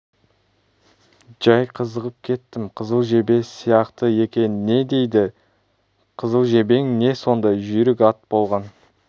жәй қызығып кеттім қызыл жебе сияқты екен не дейді қызыл жебең не сондай жүйрік ат болған